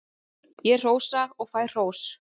Ég hrósa og fæ hrós.